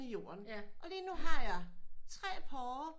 I jorden og lige nu har jeg tre porre